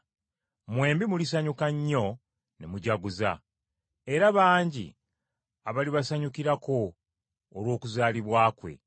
Mwembi mulisanyuka nnyo ne mujaguza. Era bangi abalibasanyukirako olw’okuzaalibwa kwe.